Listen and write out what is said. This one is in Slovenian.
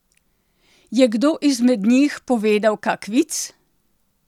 Je kdo izmed njih povedal kak vic?